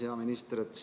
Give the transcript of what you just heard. Hea minister!